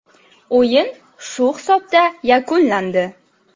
O‘yin shu hisobda yakunlandi.